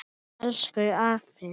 Elsku afi.